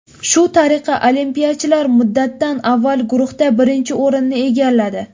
Shu tariqa olimpiyachilar muddatdan avval guruhda birinchi o‘rinni egalladi.